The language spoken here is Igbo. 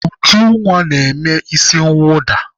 Ujunwa na-eme isi mwụda.